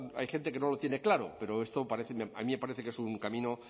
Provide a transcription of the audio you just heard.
hay gente que no lo tiene claro pero esto parece a mí me parece que es un camino